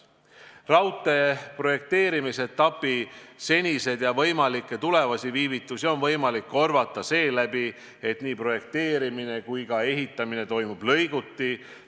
Raudtee projekteerimise etapi seniseid ja tulevikus ette tulla võivaid viivitusi on võimalik korvata seeläbi, et nii projekteerimine kui ka ehitamine toimub lõiguti.